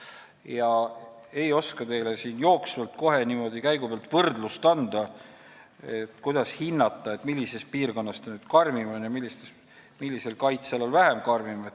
Ma ei oska teile siin kohe niimoodi käigu pealt võrdlust anda ega hinnata, millises piirkonnas need nüüd karmimad on ja millisel kaitsealal vähem karmid.